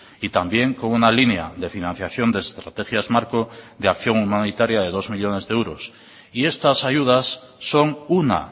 y también con una línea de financiación de estrategias marco de acción humanitaria de dos millónes de euros y estas ayudas son una